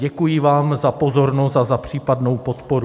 Děkuji vám za pozornost a za případnou podporu.